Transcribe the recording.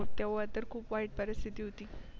मग तेव्हा ता खूप वाईट परिस्ती होती.